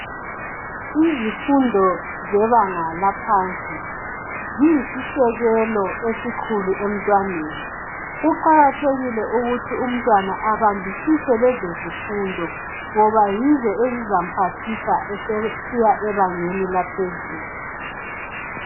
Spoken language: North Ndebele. Izimfundo zebanga laphansi ziyisisekelo esikhulu emntwaneni. Kuqakathekile ukuthi umntwana abambisise lezo zimfundo ngoba yizo ezizomphathisa esesiya ebangeni laphezulu.